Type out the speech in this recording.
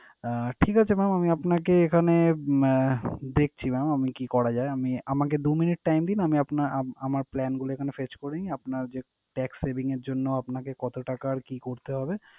আহ ঠিক আছে mam, আমি আপনাকে এখানে আহ দেখছি mam আমি কি করা যায়। আমি আমাকে দু minute time দিন আমি আপনা~ আমার plan গুলো এখানে fetch করি। আপনার যে tax saving এর জন্য আপনাকে কত টাকার কি করতে হবে।